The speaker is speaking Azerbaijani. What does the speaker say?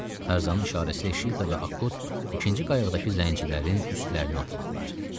Tarzanın işarəsilə Şira ilə Akut ikinci qayıqdakı zəngilərin üstlərinə atıldılar.